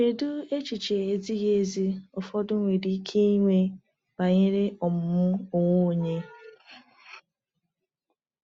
Kedu echiche ezighi ezi ụfọdụ nwere ike inwe banyere ọmụmụ onwe onye?